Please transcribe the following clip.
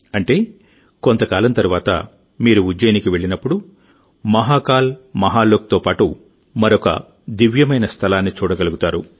అంటే కొంత కాలం తరువాతమీరు ఉజ్జయినికి వెళ్ళినప్పుడుమీరు మహాకాల్ మహాలోక్తో పాటు మరొక దివ్యమైన స్థలాన్ని చూడగలుగుతారు